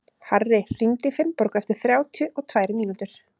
Harri, hringdu í Finnborgu eftir þrjátíu og tvær mínútur.